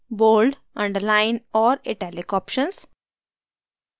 bold underline और italic options